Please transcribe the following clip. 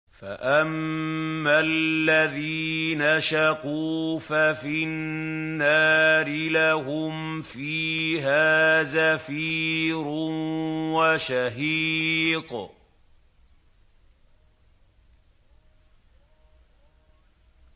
فَأَمَّا الَّذِينَ شَقُوا فَفِي النَّارِ لَهُمْ فِيهَا زَفِيرٌ وَشَهِيقٌ